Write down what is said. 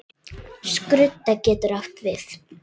Skrudda getur átt við